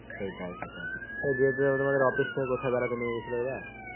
সেটাই সেটাই. এই দেবদুলাল দা তোমাদের office থেকে কোথায় বেড়াতে নিয়ে গেছিলো এবার?